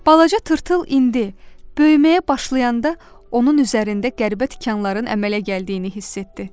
Balaca tırtıl indi böyüməyə başlayanda onun üzərində qəribə tikanların əmələ gəldiyini hiss etdi.